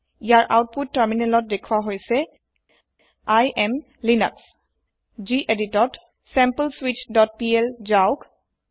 ইয়াৰ output তাৰমিনেলত দেখুৱা হৈছে I এএম লিনাস geditত sampleswitchপিএল যাওক